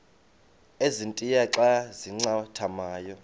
ezintia xa zincathamayo